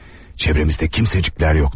Çevrəmizdə kimsəciklər yoxdu.